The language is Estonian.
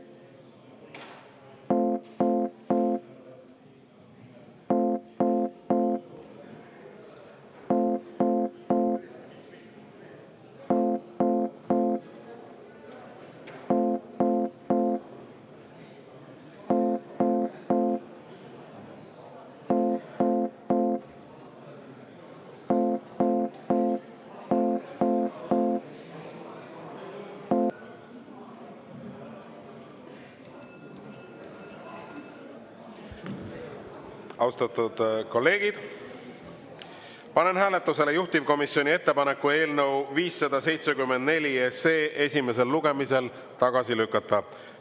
Austatud kolleegid, panen hääletusele juhtivkomisjoni ettepaneku eelnõu 574 esimesel lugemisel tagasi lükata.